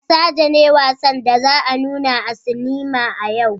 Basaja ne wassan da za a nuna a sinima a yau.